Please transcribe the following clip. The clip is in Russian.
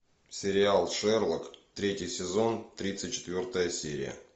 сериал шерлок третий сезон тридцать четвертая серия